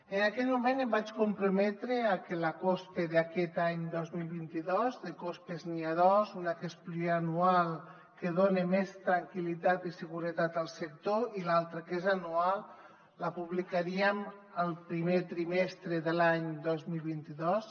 en aquell moment em vaig comprometre a que la cospe d’aquest any dos mil vint dos de cospes n’hi ha dos una que és pluriennal que dona més tranquil·litat i seguretat al sector i l’altra que és anual la publicaríem el primer trimestre de l’any dos mil vint dos